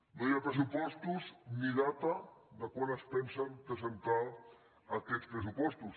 no hi ha pressupostos ni data de quan es pensen presentar aquests pressupostos